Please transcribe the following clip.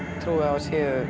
trúi á að